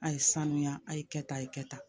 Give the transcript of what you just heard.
A ye sanuya a ye kɛ tan a ye kɛ tan